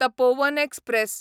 Tapovan express